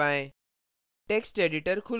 अब enter दबाएँ